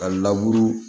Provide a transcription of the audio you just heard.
Ka